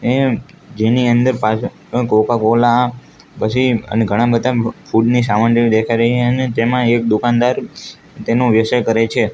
જેની અંદર કોકા-કોલા પછી અને ઘણા બધા ફૂડ ની સામાન જેવી દેખાય રહીએ અને તેમાં એક દુકાનદાર તેનો વ્યવસાય કરે છે.